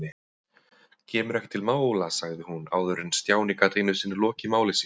Kemur ekki til mála sagði hún áður en Stjáni gat einu sinni lokið máli sínu.